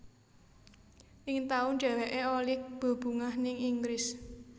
Ning taun dheweké olih bebungah ning Inggris